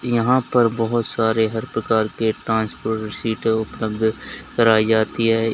यहां पर बहोत सारे हर प्रकार के सीटे उपलब्ध कराई जाती है।